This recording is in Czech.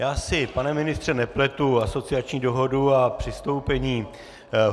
Já si, pane ministře, nepletu asociační dohodu a přistoupení.